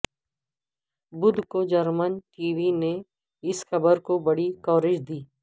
بدھ کو German T V نے اس خبر کو بڑی کوریج دی